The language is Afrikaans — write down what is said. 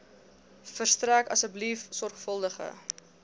verstrek asseblief sorgvuldige